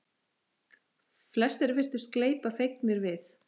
Flestir virtust gleypa fegnir við.